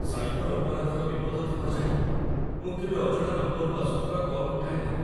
Cyber ଅପରାଧର ବିପଦ ଥିବା ଜାଣି ମୁଁ କେବେ ଅଜଣା ନମ୍ବରରୁ ଆସୁଥିବା କଲ୍ ଉଠାଏ ନାହିଁ।